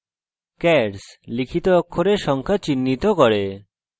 chars – আপনার দ্বারা লিখিত অক্ষরের সংখ্যা চিহ্নিত করে